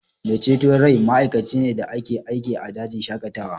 Mai ceton rai ma'aikaci ne da ke aiki a dajin shaƙatawa